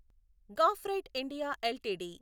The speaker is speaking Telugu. graphite India LTD